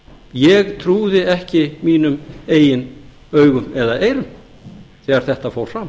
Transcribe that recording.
ég trúði ekki mínum eigin augum eða eyrum þegar þetta fór fram